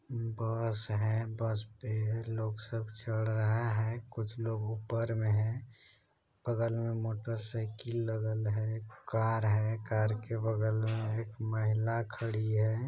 बस है । बस पे लोग सब चढ़ रहा है । कुछ लोग ऊपर में है। बगल में मोटर साइकिल लगल है । कार है कार के बगल में एक महिला खड़ी है ।